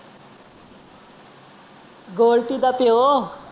ਗੋਲਟੂ ਦਾ ਪਿਓ।